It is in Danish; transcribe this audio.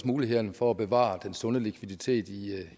mulighederne for at bevare den sunde likviditet